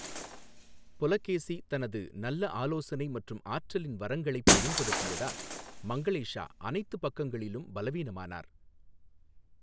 புலகேசி தனது நல்ல ஆலோசனை மற்றும் ஆற்றலின் வரங்களைப் பயன்படுத்தியதால் மங்களேஷா அனைத்து பக்கங்களிலும் பலவீனமானார்.